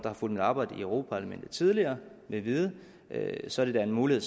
har fulgt mit arbejde i europa parlamentet tidligere vil vide så er det da en mulighed